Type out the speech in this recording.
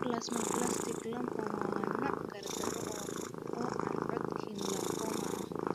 Plasmablastic lymphoma waa nooc gardaro ah oo aan Hodgkin lymphoma ah.